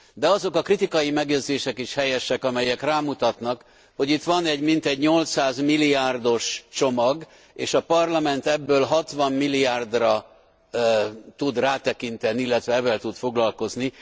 De azok a kritikai megjegyzések is helyesek, amelyek rámutatnak, hogy itt van egy mintegy 800 milliárdos csomag, és a Parlament ebből 60 milliárdra tud rátekinteni, illetve evvel tud foglalkozni.